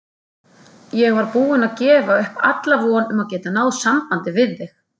Ég var búin að gefa upp alla von um að geta náð sambandi við þig!